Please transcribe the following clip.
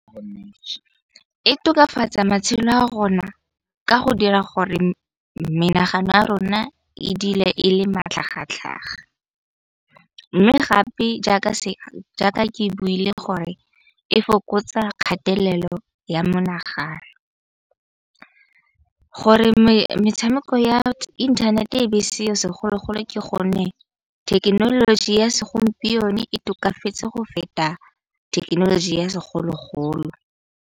E tokafatsa matshelo a rona ka go dira gore menagano ya rona e dile e le matlhagatlhaga. Mme gape jaaka ke buile gore e fokotsa kgatelelo ya menagano. Gore metshameko ya inthanete e be e seo segologolo ke gonne, thekenoloji ya segompieno e tokafetse go feta thekenoloji ya segologolo.